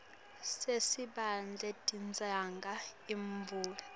sesibhedlela tidzinga imvume